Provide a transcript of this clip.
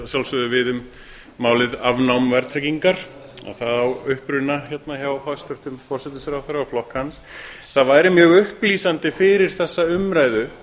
sjálfsögðu við um málið afnám verðtryggingar að það á uppruna hérna hjá hæstvirtum forsætisráðherra og flokk hans það væri mjög upplýsandi fyrir þessa umræðu